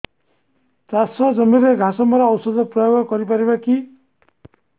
ଚାଷ ଜମିରେ ଘାସ ମରା ଔଷଧ ପ୍ରୟୋଗ କରି ପାରିବା କି